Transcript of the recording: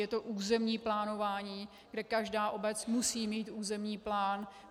Je to územní plánování, kde každá obec musí mít územní plán.